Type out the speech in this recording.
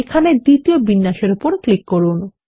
এখানে দ্বিতীয় বিন্যাসে উপর ক্লিক করুন